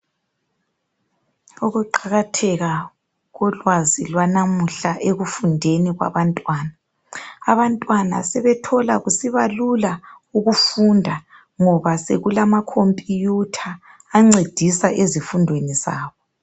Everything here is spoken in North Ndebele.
Ukuqakatheka kolwazi lwanamuhla ekufundeni kwabantwana abantwana sebethola kusibalula ukufunda ngoba sekulama khompuyutha ancedisa ezifundweni zabo.